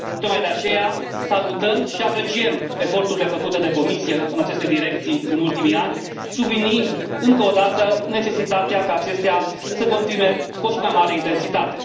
Tocmai de aceea, salutăm și apreciem eforturile făcute de Comisie în aceste direcții în ultimii ani subliniind încă o dată necesitatea ca acestea să continue cu o și mai mare intensitate.